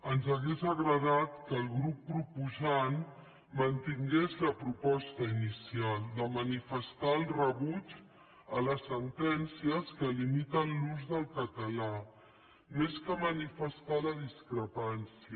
ens hauria agradat que el grup proposant mantingués la proposta inicial de manifestar el rebuig a les sentències que limiten l’ús del català més que manifestar la discrepància